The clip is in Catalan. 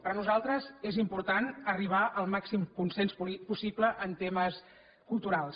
per nosaltres és important arribar al màxim consens possible en temes culturals